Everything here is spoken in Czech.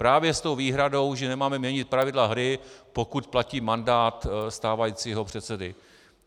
Právě s tou výhradou, že nemáme měnit pravidla hry, pokud platí mandát stávajícího předsedy.